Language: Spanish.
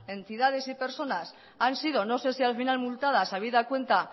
entidades y personas han sido no sé si al final multadas habida cuenta